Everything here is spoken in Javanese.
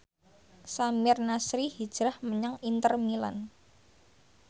Samir Nasri hijrah menyang Inter Milan